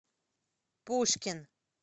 пушкин